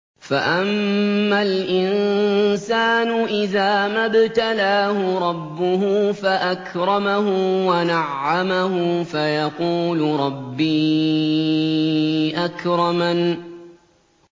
فَأَمَّا الْإِنسَانُ إِذَا مَا ابْتَلَاهُ رَبُّهُ فَأَكْرَمَهُ وَنَعَّمَهُ فَيَقُولُ رَبِّي أَكْرَمَنِ